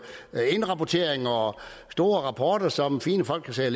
indrapportering og store rapporter som fine folk kan sidde